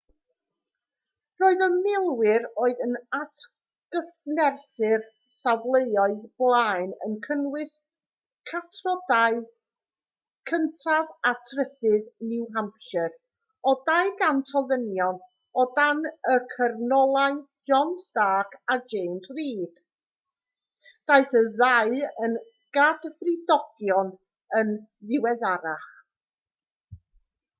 roedd y milwyr oedd yn atgyfnerthu'r safleoedd blaen yn cynnwys catrodau 1af a 3ydd new hampshire o 200 o ddynion o dan y cyrnolau john stark a james reed daeth y ddau yn gadfridogion yn ddiweddarach